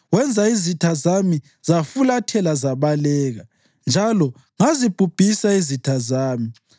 Wenza izitha zami zafulathela zabaleka, njalo ngazibhubhisa izitha zami.